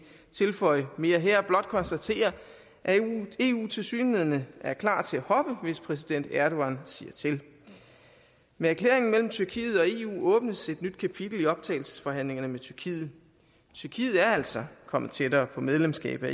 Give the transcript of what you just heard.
tilføje mere her vil blot konstatere at eu tilsyneladende er klar til at hoppe hvis præsident erdogan siger til med erklæringen mellem tyrkiet og eu åbnes et nyt kapitel i optagelsesforhandlingerne med tyrkiet tyrkiet er altså kommet tættere på medlemskab af